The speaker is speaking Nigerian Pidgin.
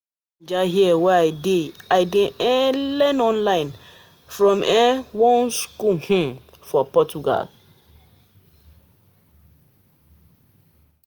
From Naija here wey I dey, I dey um learn online from um one skool um for Portugal.